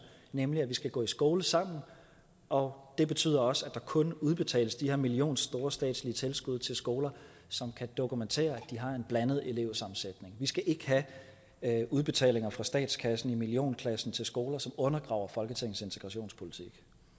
nemlig at vi skal gå i skole sammen og det betyder også at der kun udbetales de her millionstore statslige tilskud til skoler som kan dokumentere at de har en blandet elevsammensætning vi skal ikke have udbetalinger fra statskassen i millionklassen til skoler som undergraver folketingets integrationspolitik